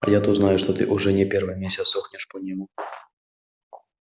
а я то знаю что ты уже не первый месяц сохнешь по нему